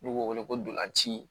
N'u b'o wele ko ntolanci